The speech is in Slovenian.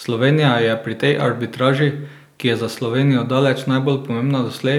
Slovenija je pri tej arbitraži, ki je za Slovenijo daleč najbolj pomembna doslej,